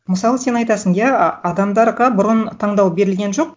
мысалы сен айтасың иә адамдарға бұрын таңдау берілген жоқ